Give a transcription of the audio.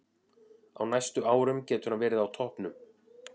Á næstu árum getur hann verið á toppnum.